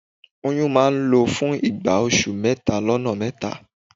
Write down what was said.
Oyún máa n lọ fún ìgbà oṣù mẹ́tà lọ́nà mẹ́ta